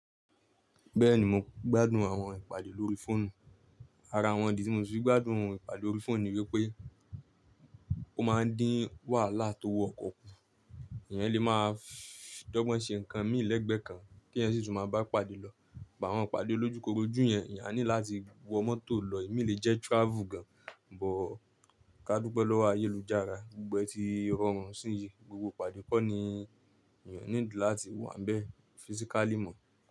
Bẹ́ẹ̀ni mo gbádùn àwọn ìpàdé lórí fóònù. Ara àwọn ìdí tí mo sì fi gbádùn ìpàdé lórí fóònù ni wípé ó máa ń dín wàhálà tó owọ ọkọ̀ kù, èèyàn lè máa dọ́gbọ́n ṣe nǹkan mí lẹ́gbẹ̀ kan kí èèyàn sì tún máa ba pàdé lọ. Ìbá wọn pàdé lójúkorojú yẹn, èèyàn á ní láti wọ mọ́tò lọ. Èmi lè jẹ́ travel gan, bọ̀ ká dúpẹ́ lọ́wọ́ ayélujára. Gbogbẹ ti rọrùn síi, gbogbo ìpàdé kọ́ ni èèyàn níl láti wà níbẹ̀ physically mọ́.